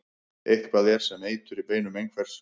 Eitthvað er sem eitur í beinum einhvers